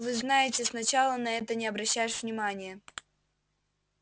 вы знаете сначала на это не обращаешь внимания